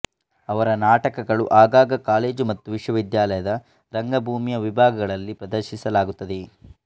ಅವರ ನಾಟಕಗಳು ಆಗಾಗ ಕಾಲೇಜು ಮತ್ತು ವಿಶ್ವವಿದ್ಯಾಲಯದ ರಂಗಭೂಮಿಯ ವಿಭಾಗಗಳಲ್ಲಿ ಪ್ರದರ್ಶಿಸಲಾಗುತ್ತದೆ